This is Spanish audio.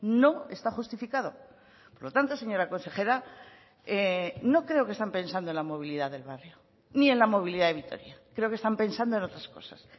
no está justificado por lo tanto señora consejera no creo que estén pensando en la movilidad del barrio ni en la movilidad de vitoria creo que están pensando en otras cosas